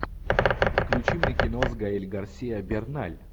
включи мне кино с гаэль гарсиа берналь